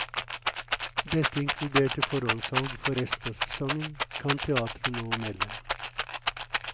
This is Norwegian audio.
Dette inkluderte forhåndssalg for resten av sesongen, kan teatret nå melde.